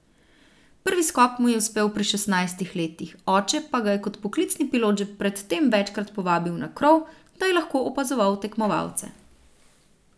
Prvi skok mu je uspel pri šestnajstih letih, oče pa ga je kot poklicni pilot že pred tem večkrat povabil na krov, da je lahko opazoval tekmovalce.